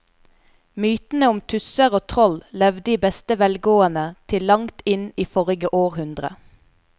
Mytene om tusser og troll levde i beste velgående til langt inn i forrige århundre.